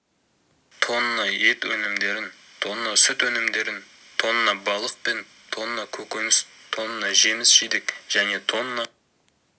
тонна ет өнімдерін тонна сүт өнімдерін тонна балық пен тонна көкөніс тонна жеміс-жидек және тонна